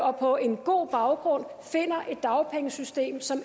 og på en god baggrund finder et dagpengesystem som